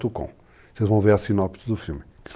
Vocês vão ver a sinopse do filme.